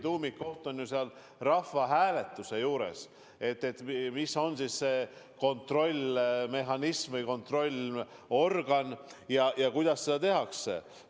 Tegelikult on rahvahääletuse probleemi tuum selles, milline on siis see kontrollmehhanism või kontrollorgan ja kuidas seda kontrolli tehakse.